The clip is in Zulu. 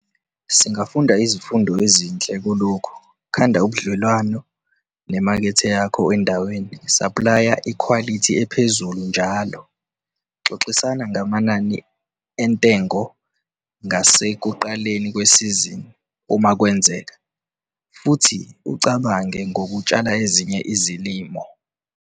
Singafunda izifundo ezinhle kulokhu - khanda ubudlelwano nemakethe yakho endaweni, saplaya ikhwalithi ephezulu njalo, xoxisana ngamanani entengo ngasekuqaleni kwesizini, uma kwenzeka, futhi ucabange ngokutshala ezinye izilimo.